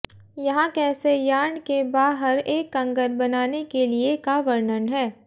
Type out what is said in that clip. यहाँ कैसे यार्न के बाहर एक कंगन बनाने के लिए का वर्णन है